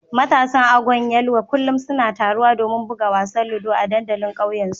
Matasan Agwan Yelwa kullum suna taruwa domin buga wasan ludo a dandalin kauye su